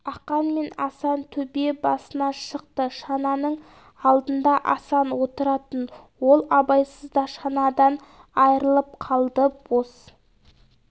ақан мен асан төбе басына шықты шананың алдына асан отыратын ол абайсызда шанадан айырылып қалды бос